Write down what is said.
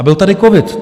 A byl tady covid.